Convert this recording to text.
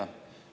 Aitäh!